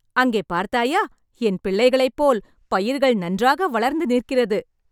அங்கே பார்த்தாயா.. என் பிள்ளைகளைப் போல் பயிர்கள் நன்றாக வளர்ந்து நிற்கிறது.